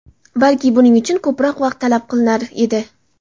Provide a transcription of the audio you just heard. Balki, buning uchun ko‘proq vaqt talab qilinar edi.